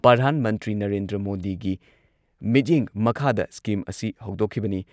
ꯄ꯭ꯔꯙꯥꯟ ꯃꯟꯇ꯭ꯔꯤ ꯅꯔꯦꯟꯗ꯭ꯔ ꯃꯣꯗꯤꯒꯤ ꯃꯤꯠꯌꯦꯡ ꯃꯈꯥꯗ ꯁꯀꯤꯝ ꯑꯁꯤ ꯍꯧꯗꯣꯛꯈꯤꯕꯅꯤ ꯫